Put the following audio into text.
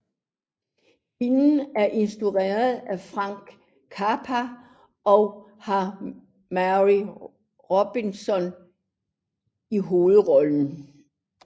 Filmen er instrueret af Frank Capra og har May Robson i hovedrollen